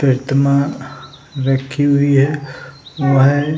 प्रतिमा रखी हुई है वो है।